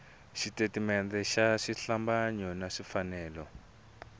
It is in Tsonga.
switatimende swa xihlambanyo swi fanele